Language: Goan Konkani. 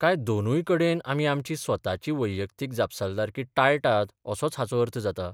काय दोनूय कडेन आमी आमची स्वताची वैयक्तीक जापसालदारकी टाळटात असोच हाचो अर्थ जाता?